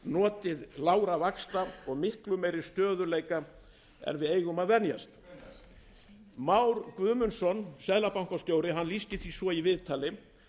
notið lágra vaxta og miklu meiri stöðugleika en við eigum að venjast hvenær már guðmundsson seðlabankastjóri lýsti því svo í viðtali